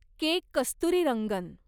के. Kasturirangan